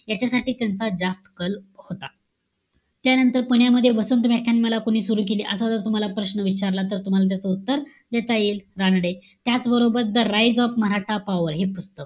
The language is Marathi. याच्यासाठी त्यांचा जास्त कल होता. त्यानंतर पुण्यामध्ये वसंत व्याख्यानमाला कोणी सुरु केली? असा जर तुम्हाला प्रश्न विचारला तर तुम्हाला त्याच उत्तर देता येईल. रानडे. त्याचबरोबर, the raise of maratha power हे पुस्तक,